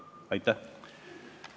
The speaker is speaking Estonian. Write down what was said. Aitäh!